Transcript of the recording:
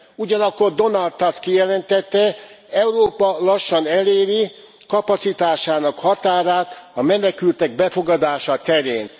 Ugyanakkor Donald Tusk kijelentette Európa lassan eléri kapacitásának határát a menekültek befogadása terén.